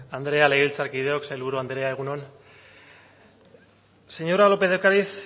andrea legebiltzarkideok sailburu andrea egun on señora lópez de ocariz